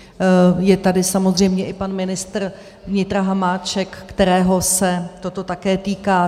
Je tady samozřejmě i pan ministr vnitra Hamáček, kterého se toto také týká.